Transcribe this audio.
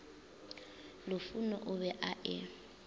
lufhuno o be a e